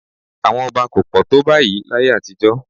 Àwọn ọba kò pọ̀ tó báyìí láyé àtijọ́